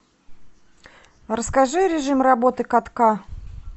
расскажи режим работы катка